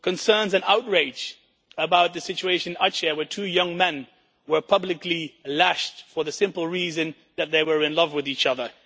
concerns and outrage about the situation in Aceh where two young men were publicly lashed for the simple reason that they were in love with each other.